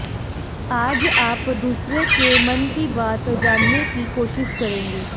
आज आप दूसरे के मन की बात जानने की कोशिश करेंगे